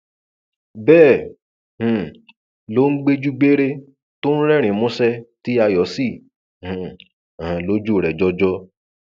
bẹẹ um ló ń gbèjú gbére tó ń rẹrìnín músẹ tí ayọ sì um hàn lójú rẹ jọjọ